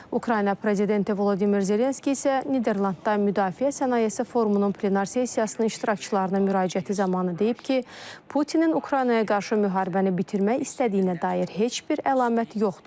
Ukrayna prezidenti Vladimir Zelenski isə Niderlandda müdafiə sənayesi forumunun plenar sessiyasının iştirakçılarına müraciəti zamanı deyib ki, Putinin Ukraynaya qarşı müharibəni bitirmək istədiyinə dair heç bir əlamət yoxdur.